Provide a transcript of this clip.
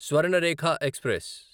Swarnarekha express